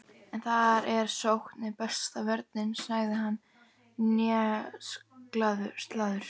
En þar eð sókn er besta vörnin, sagði hann hneykslaður